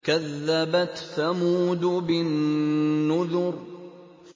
كَذَّبَتْ ثَمُودُ بِالنُّذُرِ